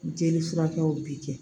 Jeli furakɛw bi kɛ